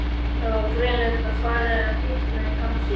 Var greinilega farið að hitna í hamsi.